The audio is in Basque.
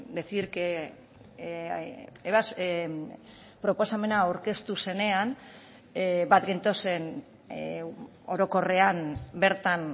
decir que proposamena aurkeztu zenean bat gentozen orokorrean bertan